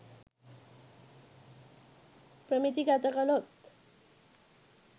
ප්‍රමිති ගත කළොත්